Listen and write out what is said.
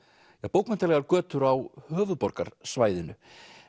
bókmenntalegar götur á höfuðborgarsvæðinu